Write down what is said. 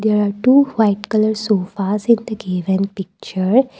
there are two white colour sofas in the given picture.